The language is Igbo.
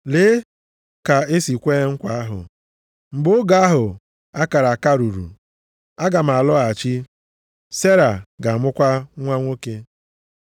Lee ka e si kwee nkwa ahụ, “Mgbe oge ahụ a kara aka ruru, aga m alọghachi, Sera ga-amụkwa nwa nwoke.” + 9:9 \+xt Jen 18:10,14\+xt*